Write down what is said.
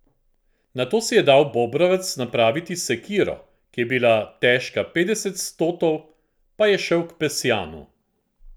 Nato si je dal Bobrovec napraviti sekiro, ki je bila težka petdeset stotov, pa je šel k Pesjanu.